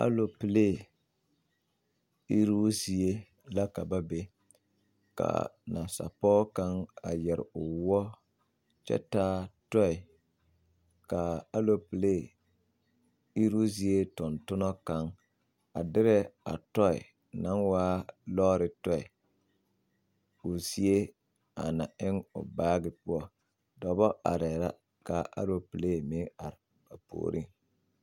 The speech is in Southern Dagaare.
Alopelee iruu zie la ka ba be ka nasapɔge kaŋ a yɛre o woɔ kyɛ taa tɔɛ ka a alopelee iruu zie tontonna kaŋ a derɛ a tɔɛ naŋ waa lɔɔre tɔɛ o zie a na eŋ o baagi poɔ dɔba arɛɛ la ka a alopelee meŋ are puoriŋ.